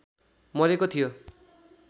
मरेको थियो